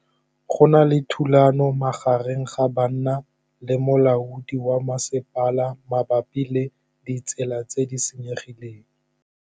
Go na le thulanô magareng ga banna le molaodi wa masepala mabapi le ditsela tse di senyegileng.